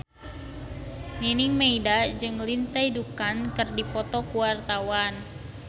Nining Meida jeung Lindsay Ducan keur dipoto ku wartawan